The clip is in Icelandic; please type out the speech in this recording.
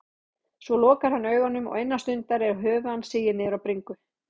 Svo lokar hann augunum og innan stundar er höfuð hans sigið niður á bringu.